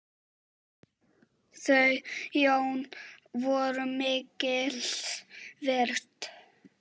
Þau Jón voru mikils virt.